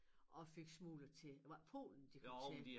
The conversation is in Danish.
Og fik smuglet til hvad Polen de kom til